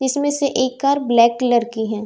इसमें से एक कार ब्लैक कलर की है।